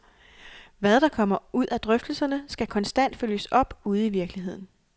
Hvad der kommer ud af drøftelserne, skal konstant følges op ude i virkeligheden.